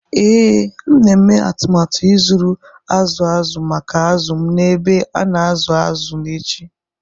ee,M na-eme atụmatụ ịzụrụ azụ̀ azụ̀ maka azụ̀ m N’ebe a na-azụ azụ̀ n’echi.